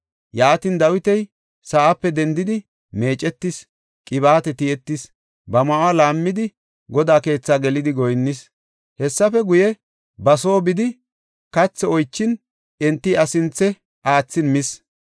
Yaatin, Dawiti sa7ape dendidi meecetis; qibaate tiyetis; ba ma7uwa laammidi, Godaa keethi gelidi goyinnis. Hessafe guye ba soo bidi, kathi oychin, enti iya sinthe aathin mis.